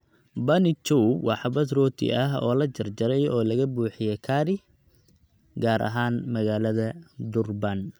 Bunny Chow waa xabbad rooti ah oo la jarjaray oo laga buuxiyey curry, gaar ahaan magaalada Durban